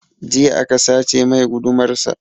Jiya aka sace mai gudumar sa